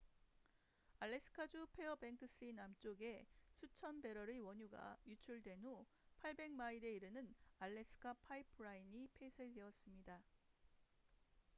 알래스카 주 페어뱅크스 남쪽에 수천 배럴의 원유가 유출된 후 800마일에 이르는 알래스카 파이프라인trans-alaska pipeline system이 폐쇄되었습니다